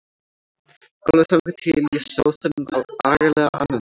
Alveg þangað til ég sá þennan agalega ananas.